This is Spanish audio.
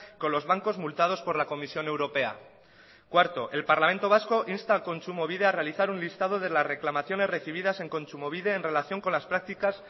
con los bancos multados por la comisión europea cuarto el parlamento vasco insta a kontsumobide a realizar un listado de las reclamaciones recibidas en kontsumobide en relación con las prácticas